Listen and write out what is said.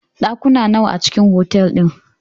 Ɗakuna nawa a cikn otal din?